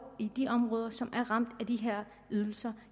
i de områder som er ramt af de her ydelser